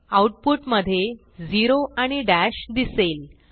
आऊटपुटमधे झेरो आणि दश दिसेल